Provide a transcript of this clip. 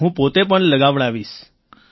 હું પોતે પણ લગાવડાવીશ